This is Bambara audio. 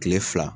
Kile fila